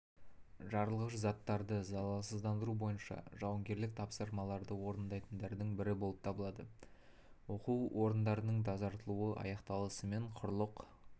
жарылғыш заттарды залалсыздандыру бойынша жауынгерлік тапсырмаларды орындайтындардың бірі болып табылады оқу полигондарының тазартылуы аяқталысымен құрлық